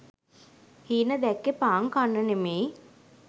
හීන දැක්කෙ පාන් කන්න නෙමෙයි.